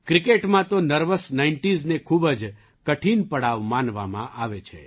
ક્રિકેટમાં તો નર્વસ નાઇન્ટિઝને ખૂબ જ કઠિન પડાવ માનવામાં આવે છે